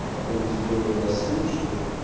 и потом сделаю рассылочку